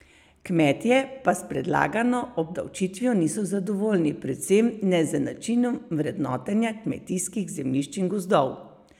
Kmetje pa s predlagano obdavčitvijo niso zadovoljni, predvsem ne z načinom vrednotenja kmetijskih zemljišč in gozdov.